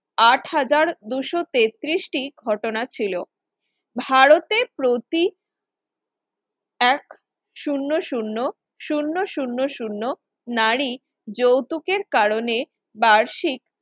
আট হাজার দুইশ তেত্রিশ টি ঘটনা ছিল ভারতের প্রতি এক শূন্য শূন্য শূন্য শূন্য শূন্য নারী যৌতুকের কারণে বার্ষিক